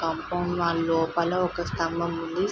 Compound wall లోపల ఒక స్తంభం ఉంది.